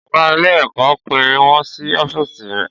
Ọ̀gá ilé-ẹ̀kọ́ pè wọ́n sí ọ́fíìsì rẹ̀.